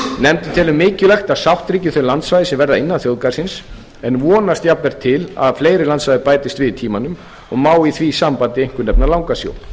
nefndin telur mikilvægt að sátt ríki um þau landsvæði sem verða innan þjóðgarðsins en vonast jafnframt til þess að fleiri landsvæði bætist við með tímanum má í því sambandi einkum nefna langasjó